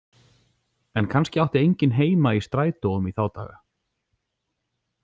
En kannski átti enginn heima í strætóum í þá daga.